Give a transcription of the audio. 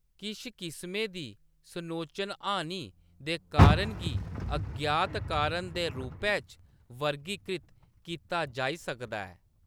किश किस्में दी सनोचन-हानि दे कारण गी अज्ञात कारण दे रूपै च वर्गीकृत कीता जाई सकदा ऐ।